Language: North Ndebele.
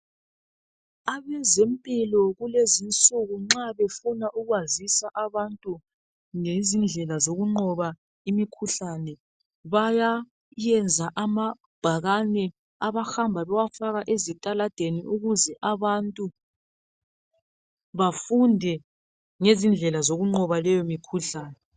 abezempilo kulezoinsukunxabefuna ukwazisa abantu ngendlela zokunqoba imikhuhlane bayayenza amabhakane abahamba bewafaka ezitaladeni ukuze abantu bafunde ngezindlela zokunqoba leyo mkhuhlane